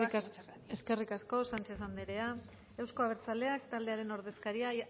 están a tiempo nada más muchas gracias eskerrik asko sánchez anderea euzko abertzaleak taldearen ordezkaria